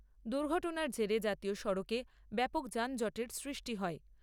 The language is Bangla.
দুর্ঘটনার জেরে জাতীয় সড়কে ব্যাপক যানজটের সৃষ্টি হয়।